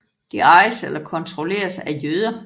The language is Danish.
De ejes eller kontrolleres af jøder